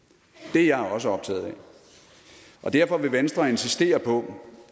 det er jeg også optaget af og derfor vil venstre insistere på